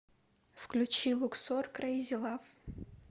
включи луксор крейзи лав